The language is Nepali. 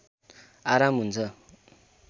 आराम हुन्छ